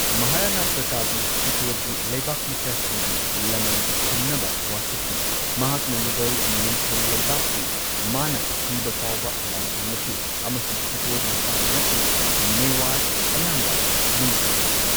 ꯃꯍꯥꯔꯥꯅ ꯄ꯭ꯔꯇꯥꯞꯅ ꯆꯤꯠꯇꯣꯔꯒꯤ ꯂꯩꯕꯥꯛ ꯃꯆꯥꯁꯤꯡꯒꯤ ꯂꯃꯟ ꯈꯨꯝꯅꯕ ꯋꯥꯁꯛꯈꯤ, ꯃꯍꯥꯛꯅ ꯃꯨꯘꯜ ꯅꯤꯡꯊꯧ ꯂꯩꯕꯥꯛꯄꯨ ꯃꯥꯅ ꯁꯤꯕ ꯐꯥꯎꯕ ꯂꯥꯟꯊꯦꯡꯅꯈꯤ ꯑꯃꯁꯨꯡ ꯆꯤꯠꯇꯣꯔ ꯃꯁꯥ ꯅꯠꯇꯅ ꯃꯦꯋꯥꯔ ꯑꯌꯥꯝꯕ ꯅꯤꯡꯇꯝꯍꯟꯈꯤ꯫